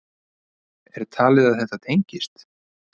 Er talið að þetta tengist?